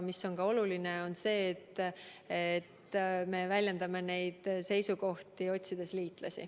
Aga oluline on ka see, et me väljendame neid seisukohti, otsides liitlasi.